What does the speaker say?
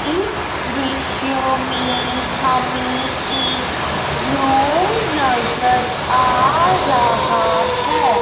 इस दृश्य मे हमे एक रूम नज़र आ रहा है।